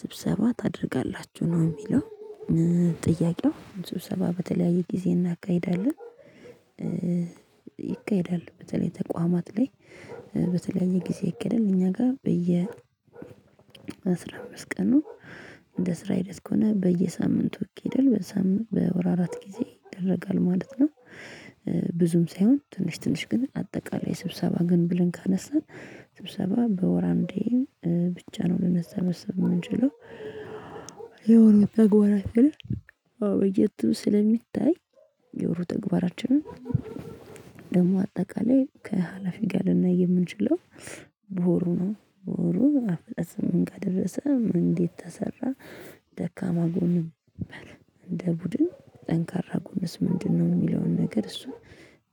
ስብሰባ ታደርጋላችሁ ነው የሚለው? ጥያቄው አምስት ስብሰባ በተለያየ ጊዜ እናካሂዳለን። ይካሄዳሉ በተለይ ተቋማት ላይ። በተለያየ ጊዜ ይካሄዳል እኛ ጋር በየ በአስራ አምስት ቀኑ እንደ ስራ አይነት ከሆነ በየሳምንቱ ይካሄዳል። በወር አራት ጊዜ ይደረጋል ማለት ነው። ብዙም ሳይሆን ትንሽ ትንሽ ግን አጠቃላይ ስብሰባ ግን ብለን ካነሳን ስብሰባ በወር አንዴ ብቻ ነው ልንሰበሰብ የምንችለው። የወሩ የወሩ ተግባራችንን አዎ በየትም ስለሚታይ። የወሩ ተግባራችንን ደግሞ አጠቃላይ ከሀላፊ ጋር ልናይ የምንችለው። በወሩ ነው በወሩ አፈጻጸም ምን ጋር ደረሰ እንዴት ተሰራ? ደካማ ጎን ነበር። እንደ ቡድን ጠንካራ ጎንስ ምንድነው? የሚለውን ነገር እሱ